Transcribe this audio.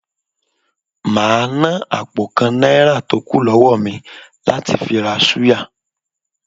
Màá ná àpò kan Náírà tó kù lọ́wó mi láti fi ra súyà